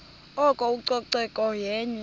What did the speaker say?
oko ucoceko yenye